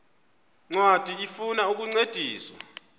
ncwadi ifuna ukukuncedisa